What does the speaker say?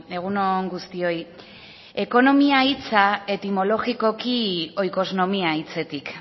egun on guztioi ekonomia hitza etimologikoki oikosnomia hitzetik